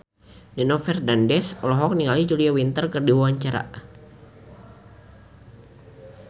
Nino Fernandez olohok ningali Julia Winter keur diwawancara